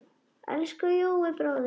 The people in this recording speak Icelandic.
Elsku Jói bróðir.